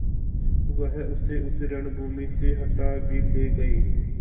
वह उसे उस रणभूमि से हटा भी ले गये